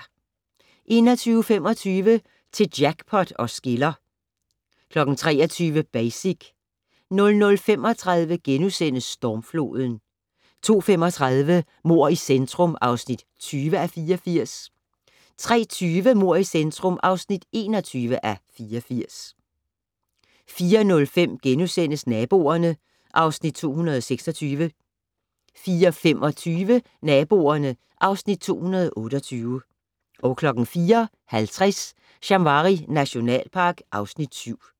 21:25: Til jackpot os skiller 23:00: Basic 00:35: Stormfloden * 02:35: Mord i centrum (20:84) 03:20: Mord i centrum (21:84) 04:05: Naboerne (Afs. 226)* 04:25: Naboerne (Afs. 228) 04:50: Shamwari nationalpark (Afs. 7)